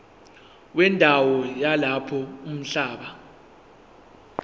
wendawo yalapho umhlaba